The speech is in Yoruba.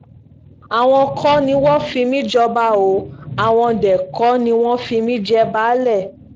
àwọn kọ́ ni wọ́n fi mí jọba o àwọn dé kò ní wọ́n fi mí jẹ baálé